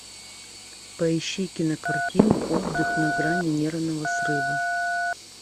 поищи кинокартину отдых на грани нервного срыва